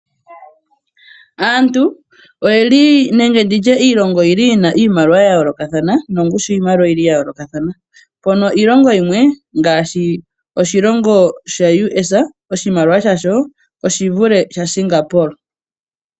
Aantu oye li nenge ndi tye iilongo oyi li yi na iimaliwa ya yoolokathana nongushu yiimaliwa oyi li ya yoolokathana, mpono iilongo yimwe ngaashi oshilongo shaUS oshimaliwa shasho oshivule shaSingapore.